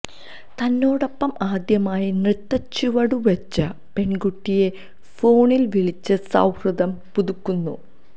തന്നോടൊപ്പം ആദ്യമായി നൃത്തച്ചുവടുവെച്ച പെണ്കുട്ടിയെ ഫോണില് വിളിച്ച് സൌഹദം പുതുക്കുന്നു